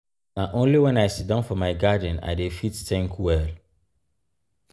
na only wen i siddon for my garden i dey fit tink well.